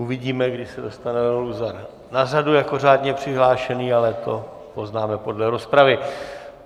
Uvidíme, kdy se dostane Leo Luzar na řadu jako řádně přihlášený, ale to poznáme podle rozpravy.